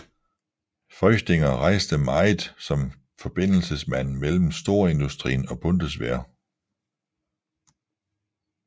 Feuchtinger rejste meget som forbindelsesmand mellem storindustrien og Bundeswehr